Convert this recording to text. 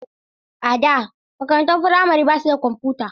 A da, makarantun firamare ba su da kwamfuta.